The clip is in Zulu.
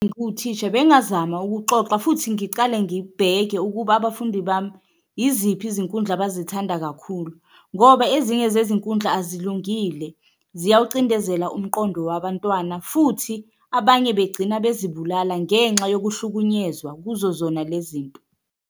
Ngiwuthisha bengazama ukuxoxa futhi ngicale ngibheke ukuba abafundi bami yiziphi izinkundla abazithanda kakhulu, ngoba ezinye zezinkundla azilungile ziyawucindezela umqondo wabantwana, futhi abanye begcina bezibulala ngenxa yokuhlukunyezwa kuzo zona le zinto.